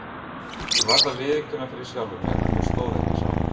Ég varð að viðurkenna fyrir sjálfum mér að mér stóð ekki á sama.